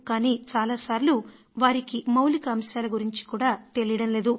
కానీ చాలా సార్లు వారికి మౌలిక అంశాల గురించి కూడా తెలియడం లేదు